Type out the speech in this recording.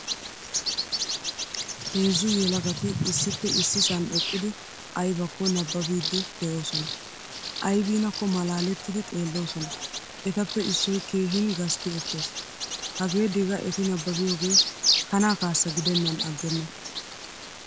Heezzu yelagati issippe issisan eqqidi aybakko nabbabidi deosona. Aybinakko malaalettidi xeelosona. Ettappe issoy keehingasti ekkees. Hagee diga etti nabbaabiyoge kana kaassa gidenan aggena.